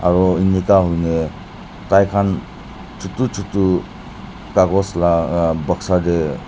aru enika hoina tai khan chutu chutu kagos laga boxa tae.